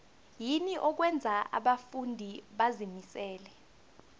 yini okwenza abafundi bazimisele